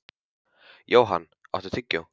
Johan, áttu tyggjó?